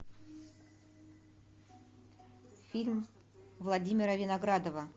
фильм владимира виноградова